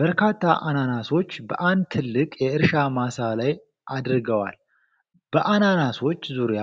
በርካታ አናናሶች በአንድ ትልቅ የእርሻ ማሳ ላይ አድገዋል። በአናናሶቹ ዙሪያ